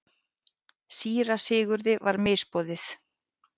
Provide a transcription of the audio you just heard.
Síra Sigurði var misboðið.